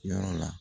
Yɔrɔ la